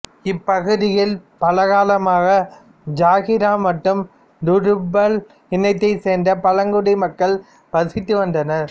இப்பகுதியில் பலகாலமாக ஜாகிரா மற்றும் டுர்ருபல் இனத்தைச் சார்ந்த பழங்குடி மக்கள் வசித்து வந்தனர்